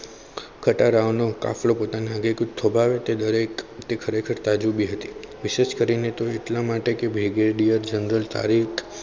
ખટારાઓ નો કાફલો પોતાનો વેગ થોભાવે તે દરેક દેખરેખ તાજું બી હતી research કરીને એટલા માટે કે brigadier general તાવીજ